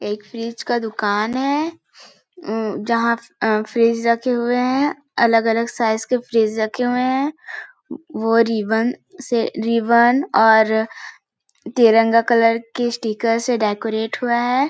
एक फ्रिज का दुकान है अम्म जहाँ अ फ्रिज रखे हुए है अलग - अलग साइज़ के फ्रिज रखे हुए है वो रीबन से रीबन और तिरंगा कलर स्टिकर से डेकोरेट हुआ हैं ।